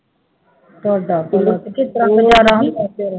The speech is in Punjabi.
ਤੁਹਾਡਾ ਭਲਾ ਤੁਸੀਂ ਕਿਸ ਤਰ੍ਹਾਂ